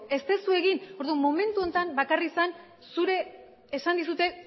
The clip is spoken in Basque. ez duzu egin orduan momentu honetan bakarrik zen zure esan dizute